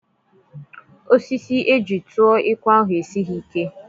Osisi eji tụọ ekwe ahụ esighị ike.